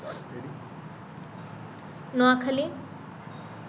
Noakhali